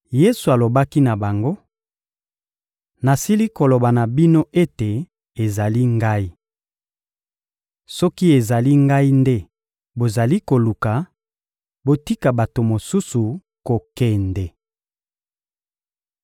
Yesu alobaki na bango: — Nasili koloba na bino ete ezali Ngai. Soki ezali Ngai nde bozali koluka, botika bato mosusu kokende.